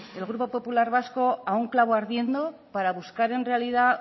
el grupo popular vasco a un clavo ardiendo para buscar en realidad